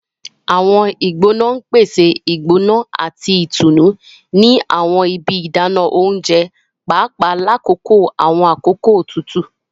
Awọn igbona n pese igbona ati itunu ni awọn ibi idana ounjẹ, paapaa lakoko awọn akoko tutu.